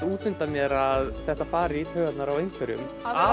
út undan mér að þetta fari í taugarnar á einhverjum